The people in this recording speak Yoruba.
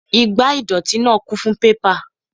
Igbá ìdọ̀tí náà kún fún pépà